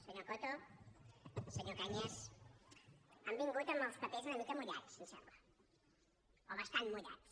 senyor coto senyor cañas han vingut amb els papers una mica mullats em sembla o bastant mullats